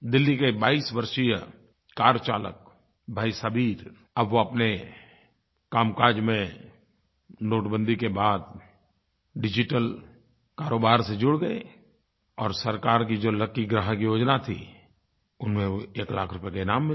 दिल्ली के 22 वर्षीय कार चालक भाई सबीर अब वो अपने कामकाज में नोटबंदी के बाद डिजिटल कारोबार से जुड़ गए और सरकार की जो लकी ग्राहक योजना थी उसमें वो एक लाख रुपये का इनाम मिल गया